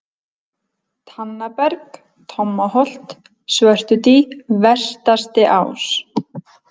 Tannaberg, Tommaholt, Svörtudý, Vestastiás